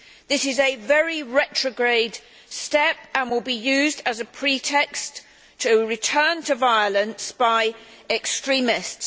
This is a very retrograde step and will be used as a pretext to return to violence by extremists.